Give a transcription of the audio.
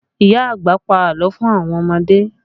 Ìyá àgbà pa àlọ́ fún àwọn ọmọdé